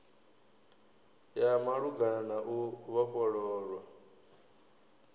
ya malugana na u vhofhololwa